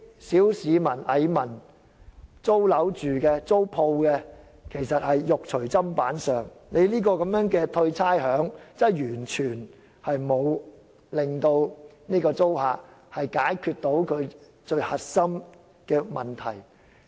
小市民、蟻民、住宅租客和商鋪租戶其實是"肉隨砧板上"，寬減差餉完全沒有令租客得以解決最核心的問題。